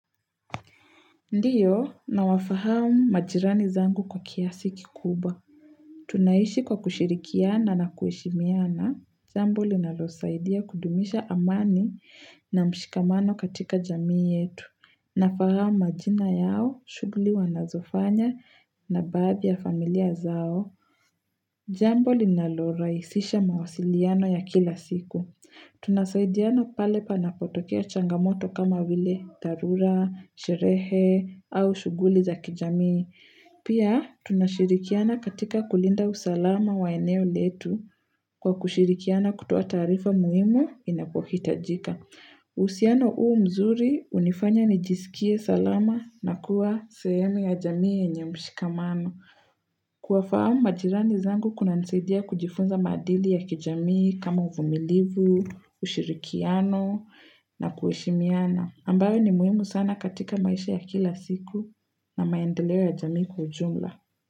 Ndiyo na wafahamu majirani zangu kwa kiasi kikuba. Tunaishi kwa kushirikiana na kueshimiana. Jambo linalo saidia kudumisha amani na mshikamano katika jamii yetu. Na fahamu majina yao, shugli wanazofanya na babi ya familia zao. Jambo linalo raisisha mawasiliano ya kila siku. Tunasaidiana pale panapotokea changamoto kama wile tarura, sherehe au shuguli za kijamii. Pia tunashirikiana katika kulinda usalama wa eneo letu kwa kushirikiana kutoa tarifa muimu inapohitajika. Usiano uu mzuri, unifanya nijisikie salama na kuwa seyemi ya jamii ya nye mshikamano. Kuwafahamu majirani zangu kuna nseidia kujifunza madili ya kijamii kama uvumilivu, ushirikiano na kueshimiana. Ambayo ni muimu sana katika maisha ya kila siku na maendelewa ya jamii kujumla.